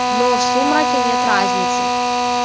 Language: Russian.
но в сумраке нет разницы